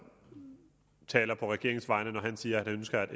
taler på regeringens vegne når han siger at han ønsker at